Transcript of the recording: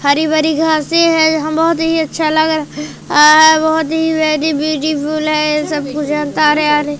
हरी भरी घासे हैं यहां बहोत ही अच्छा लग रह आ बहोत ही वेरी ब्यूटीफुल है सब कुछ --